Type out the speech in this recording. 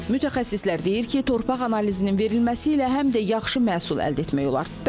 Mütəxəssislər deyir ki, torpaq analizinin verilməsi ilə həm də yaxşı məhsul əldə etmək olar.